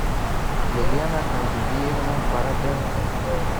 елена хазбиевна бороденко